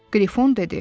Qrifon dedi.